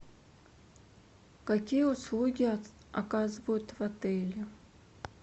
какие услуги оказывают в отеле